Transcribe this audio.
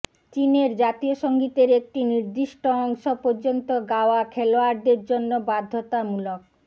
চীনের জাতীয় সঙ্গীতের একটি নির্দিষ্ট অংশ পর্যন্ত গাওয়া খেলোয়াড়দের জন্য বাধ্যতামূলক